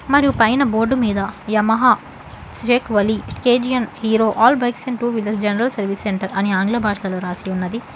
మరియు పైన బోర్డు మీద యమహా షైక్ వలి కే_జి_న్ Hero all bikes and two wheelers general services centre అని ఆంగ్ల భాషలో రాసి ఉన్నది.